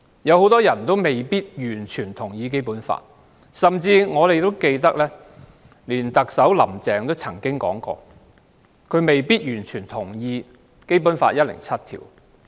很多人未必完全同意《基本法》，甚至特首"林鄭"也曾公開表示，她未必完全同意《基本法》第一百零七條。